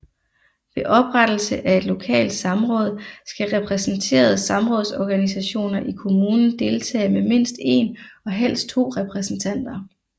Ved oprettelse af et lokalt samråd skal repræsenterede samrådsorganisationer i kommunen deltage med mindst 1 og helst 2 repræsentanter